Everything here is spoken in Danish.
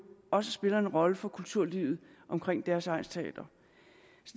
også spiller en rolle for kulturlivet omkring deres egnsteater